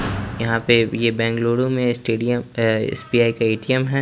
यहाँ पे ये बेंगलुरु में स्टेडियम ये एस_बी_आई का ए_टी_एम है।